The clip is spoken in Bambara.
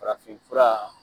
Farafin fura